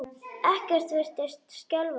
Ekkert virtist skelfa hann.